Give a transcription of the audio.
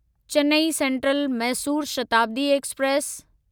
Chennai Central Mysore Shatabdi express